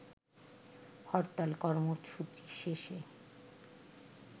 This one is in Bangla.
হরতাল কর্মসূচি শেষে